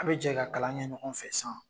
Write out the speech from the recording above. An bi jɛ ka kalan kɛ ɲɔgɔn fɛ san